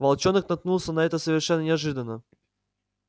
волчонок наткнулся на это совершенно неожиданно